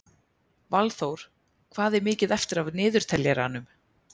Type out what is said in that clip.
Valþór, hvað er mikið eftir af niðurteljaranum?